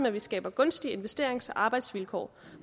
at vi skaber gunstige investerings og arbejdsvilkår